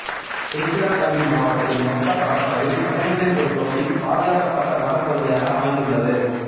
திருச்சிராப்பள்ளி மாவட்டத்தின் மொத்த பரப்பளவில் பன்னிரண்டில் ஒரு பகுதி பாதுகாக்கப்பட்ட வனப்பகுதியாக அமைந்துள்ளது